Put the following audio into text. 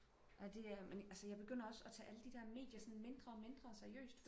ah det er men altså jeg begynder også at tage alle de der medier sådan mindre og mindre seriøst